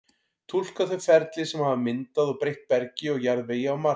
túlka þau ferli sem hafa myndað og breytt bergi og jarðvegi á mars